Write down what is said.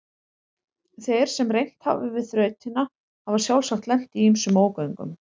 Þeir sem reynt hafa við þrautina hafa sjálfsagt lent í ýmsum ógöngum.